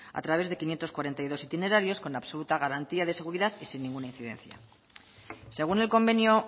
a través de quinientos cuarenta y dos itinerarios con absoluta garantía de seguridad y sin ninguna incidencia según el convenio